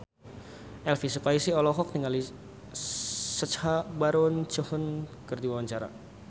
Elvy Sukaesih olohok ningali Sacha Baron Cohen keur diwawancara